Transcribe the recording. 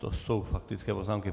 To jsou faktické poznámky.